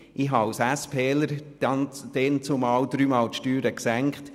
Ich habe als SPler damals dreimal die Steuern gesenkt.